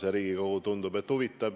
Tundub, et see huvitab Riigikogu.